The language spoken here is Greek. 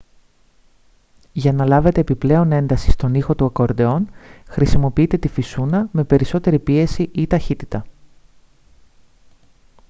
για να λάβετε επιπλέον ένταση στον ήχο του ακορντεόν χρησιμοποιείτε τη φυσούνα με περισσότερη πίεση ή ταχύτητα